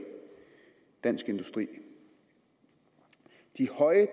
dansk industri de høje